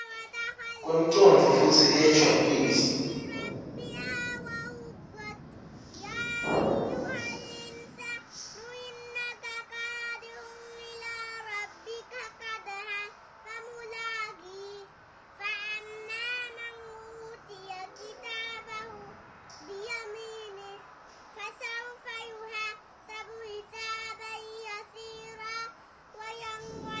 kwemcondvo futsi iyajabulisa